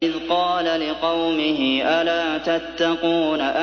إِذْ قَالَ لِقَوْمِهِ أَلَا تَتَّقُونَ